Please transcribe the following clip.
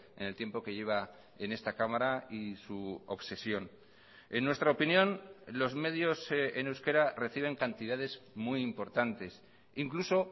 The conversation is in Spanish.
en el tiempo que lleva en esta cámara y su obsesión en nuestra opinión los medios en euskera reciben cantidades muy importantes incluso